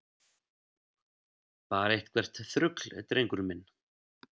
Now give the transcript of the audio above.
Bara eitthvert þrugl, drengur minn.